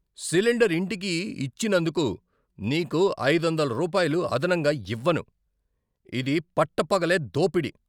Cylinder ఇంటికి ఇచ్చినందుకు నీకు ఐదొందల రూపాయలు అదనంగా ఇవ్వను. ఇది పట్టపగలే దోపిడి!